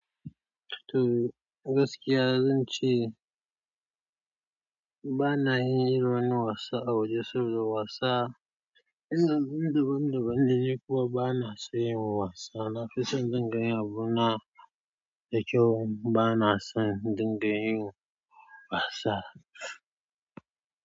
To gaskiya zan ce ba na yin irin wannan wasa a waje saboda wasa, ina bin daban daban ne kuma ba na son yin wasa. Nafison in dinga yin abuna dakyau bana son indinga yin wasa.